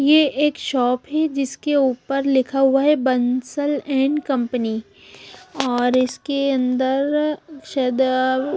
ये एक शॉप है जिसके ऊपर लिखा हुआ है बंसल एंड कंपनी और इसके अंदर शायद--